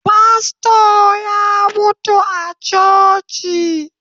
Fasto ya mutu a coci